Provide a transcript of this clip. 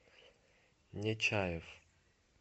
нечаев